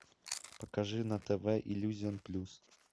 покажи на тв иллюзион плюс